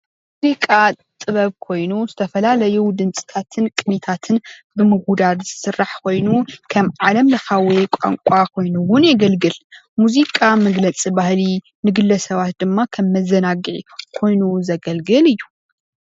ሙዚቃ ጥበብ ኮይኑ ዝተፈላለዩ ድምፅታትን ቅኒታትን ብምውዳድ ዝስራሕ ኮይኑ ከም ዓለም ለካዊ ቋንቋ ኮይኑ እውን የገልግል፡፡ ሙዚቃ መግለፂ ባህሊ ንግለ ሰባት ድማ ከም መዘናጊዒ ኮይኑ ዘገልግል እዩ፡፡